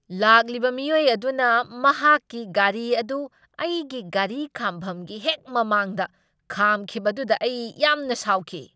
ꯂꯥꯛꯂꯤꯕ ꯃꯤꯑꯣꯏ ꯑꯗꯨꯅ ꯃꯍꯥꯛꯀꯤ ꯒꯥꯔꯤ ꯑꯗꯨ ꯑꯩꯒꯤ ꯒꯥꯔꯤ ꯈꯥꯝꯐꯝꯒꯤ ꯍꯦꯛ ꯃꯃꯥꯡꯗ ꯈꯥꯝꯈꯤꯕꯗꯨꯗ ꯑꯩ ꯌꯥꯝꯅ ꯁꯥꯎꯈꯤ꯫